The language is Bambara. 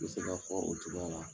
N bɛ se k'a fɔ o cogoya la.